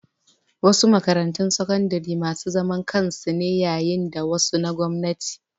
Wasu makarantun sakandare masu zaman kansu ne yayin da wasu na gwamnati.